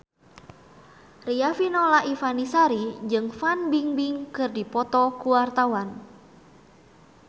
Riafinola Ifani Sari jeung Fan Bingbing keur dipoto ku wartawan